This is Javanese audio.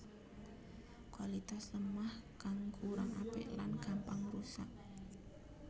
Kualitas lemah kang kurang apik lan gampang rusak